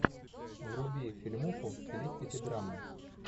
вруби фильмуху в стилистике драмы